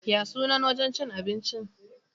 Ya sunan wajen cin abincin?